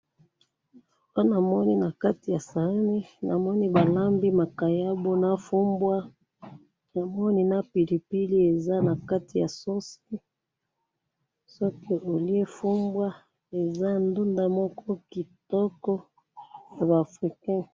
Awa namoni nakati ya saani, namoni balambi makayabo nafumbwa, namoni na pilipili eza nakati ya sauce, soki olye fumbwa eza ndunda moko kitoko yaba africain.